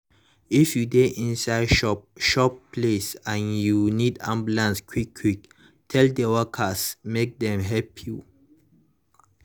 if you dey inside chop chop place and you need ambulance quick quick tell the workers make dem help you.